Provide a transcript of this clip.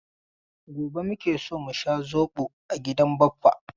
Gobe muke so mu sha zobo a gidan Baffa.